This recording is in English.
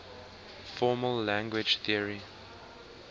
formal language theory